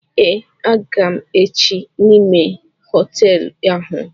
Eé, a ga m èché n'ime hotéélu áhù